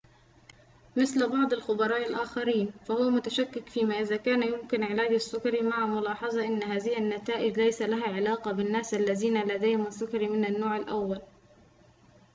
مثل بعض الخبراء الآخرين فهو متشكك فيما إذا كان يمكن علاج السكري مع ملاحظة أن هذه النتائج ليس لها علاقة بالناس الذين لديهم السكري من النوع الأول